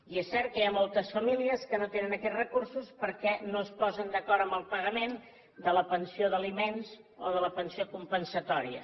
i és cert que hi ha moltes famílies que no tenen aquests recursos perquè no es posen d’acord amb el pagament de la pensió d’aliments o de la pensió compensatòria